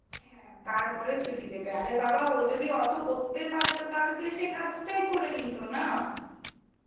হ্যাঁ তারপরে ছুটি দেবে. আরে বাবা ও যদি অতো করতে পারতো তাহলে তো এসে কাজটাই করে নিতো না.